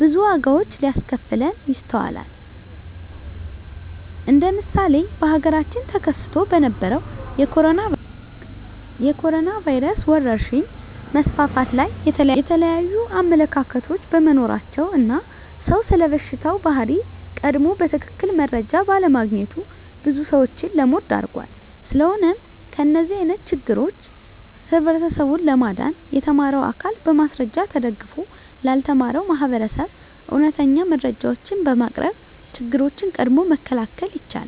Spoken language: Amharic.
ብዙ ዋጋዎች ሲያስከፍለን ይስተዋላል እንደ ምሳሌ በሀገራችን ተከስቶ በነበረዉ የኮሮኖ ቫይረስ ወረርሽኝ መስፋፋት ላይ የተለያዩ አመለካከቶች በመኖራቸው እና ሰዉ ስለበሽታው ባህሪ ቀድሞ በትክክል መረጃ ባለማግኘቱ ብዙ ሰዎችን ለሞት ዳርጓል። ስለሆነም ከእንደዚህ አይነት ችግሮች ህብረተሰቡን ለማዳን የተማረው አካል በማስረጃ ተደግፎ ላልተማረው ማህበረሰብ እውነተኛ መረጃዎችን በማቅረብ ችግሮችን ቀድሞ መከላከል ይቻላል።